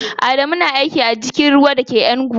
Adamu na aiki a jirgin ruwa da ke Enugu.